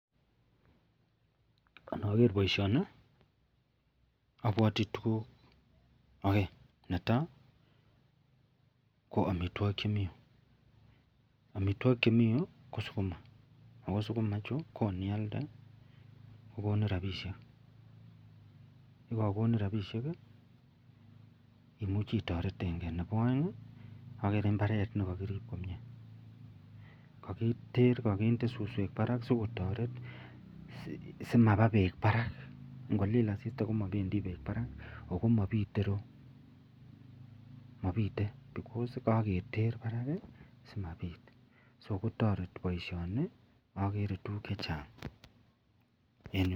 Anager baishoni abwati tuguk aeng netaa ko amitwagik Chemiten ireyu amitwagik Chemiten Yu ko sukuma akosukuma chuton niyalde kokonin rabishek ak yekakonin rabishek imuchi itaretenbgei ak nebo aeng agere imbaret nikakirib komie kakiter akende suswek Barak sikotaret simaba bek Barak ngolil asista komabendik bek Barak akomabite iroyu mabite (because)Kaketer Barak simabit akotareti baishoni agere tuguk chechang en yu